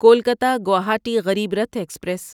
Kolkata Guwahati Garib Rath express